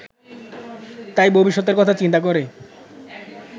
তাই ভবিষ্যতের কথা চিন্তা করে